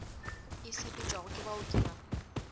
e sepetšwago ke baoki ba